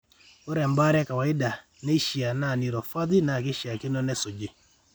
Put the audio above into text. Ore embaare e kawaida naishiaa e neuropathy naa keishiakino nesuji,